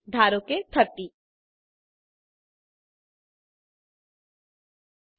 ધારો કે 30